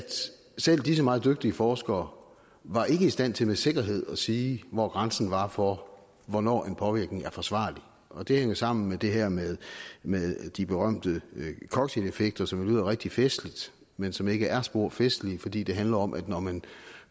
selv disse meget dygtige forskere var i stand til med sikkerhed at sige hvor grænsen var for hvornår en påvirkning er forsvarlig og det hænger sammen med det her med med de berømte cocktaileffekter som lyder rigtig festligt men som ikke er spor festligt fordi det handler om at når man